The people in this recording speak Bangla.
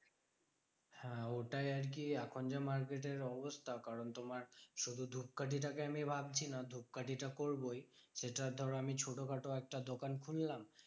হ্যাঁ ওটাই আরকি এখন যা market এর অবস্থা। কারণ তোমার শুধু ধূপকাঠিটা কে আমি ভাবছি না। ধূপকাঠিটা করবোই সেটার ধরো আমি একটা ছোট খাটো একটা দোকান খুললাম।